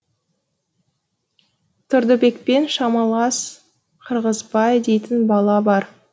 тұрдыбекпен шамалас қырғызбай дейтін бала бар